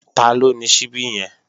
Taló ni ṣíbí yẹn?